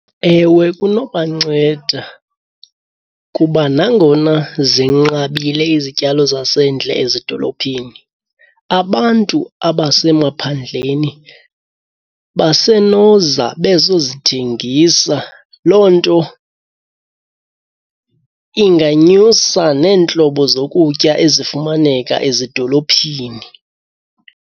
Ewe, kunobanceda kuba nangona zinqabile izityalo zasendle ezidolophini abantu abasemaphandleni basenoza bezozithengisa. Loo nto inganyusa neentlobo zokutya ezifumaneka ezidolophini.